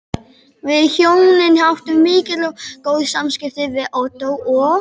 Við hjónin áttum mikil og góð samskipti við Ottó og